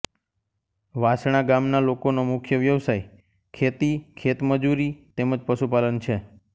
વાસણા ગામના લોકોનો મુખ્ય વ્યવસાય ખેતી ખેતમજૂરી તેમ જ પશુપાલન છે